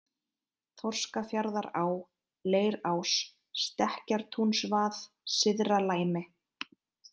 Þorskafjarðará, Leirás, Stekkjartúnsvað, Syðra-Læmi